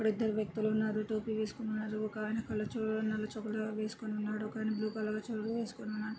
ఇక్కడ ఇద్దరు వ్యక్తులున్నారు టోపీ వేసుకున్నారు. ఒకాయన కాళ్ళ చొ నల్ల చొక్కా వేసుకున్నాడు. ఒకాయన బ్లూ కలర్ వేసుకుని ఉన్నాడు.